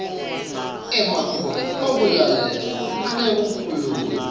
emakhono ekulalela nekukhuluma